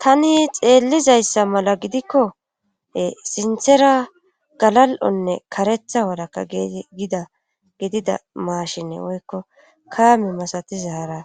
Tani xeellizayssa mala gidikkoe sinthera galal7onne karetha walakka gida gidida maashine woykko kaame masatiza hara